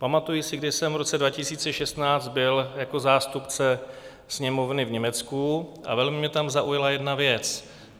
Pamatuji se, když jsem v roce 2016 byl jako zástupce Sněmovny v Německu a velmi mě tam zaujala jedna věc.